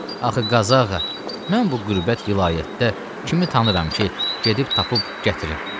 Axı Qazağa, mən bu qürbət vilayətdə kimi tanıyıram ki, gedib tapıb gətirim?